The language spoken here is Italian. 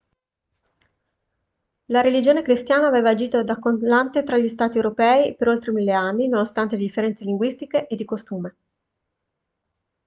la religione cristiana aveva agito da collante tra gli stati europei per oltre mille anni nonostante le differenze linguistiche e di costume